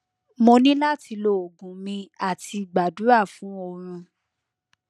mo ni lati lo ogun mi ati gbadura fun orun